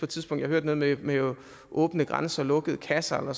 tidspunkt hørte noget med åbne grænser og lukkede kasser eller